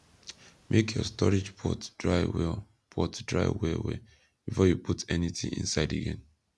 make your storage pot dry well pot dry well well before you put anything inside again